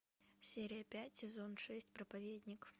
серия пять сезон шесть проповедник